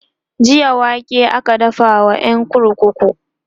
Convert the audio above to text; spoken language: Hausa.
jiya wake aka dafa wa ƴan kurkuku